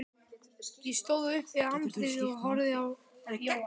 Ég stóð upp við handriðið og horfði á Jóa.